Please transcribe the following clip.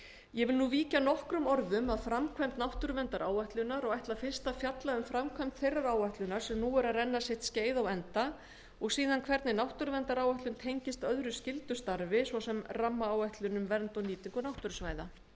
ég vil nú víkja nokkrum orðum að framkvæmd náttúruverndaráætlunar og ætla fyrst að fjalla um framkvæmd þeirrar áætlunar sem nú er að renna sitt skeið á enda og síðan hvernig náttúruverndaráætlun tengist öðru skyldu starfi svo sem rammaáætlun um vernd og nýtingu náttúrusvæða